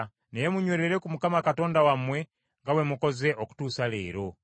Naye munywerere ku Mukama Katonda wammwe nga bwe mukoze okutuusa leero.